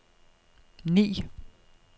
ni